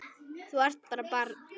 Þú ert bara barn.